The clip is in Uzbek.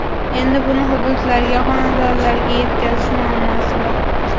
Endi buni hududlarga, xonadonlargacha yetkazish muammosi bor.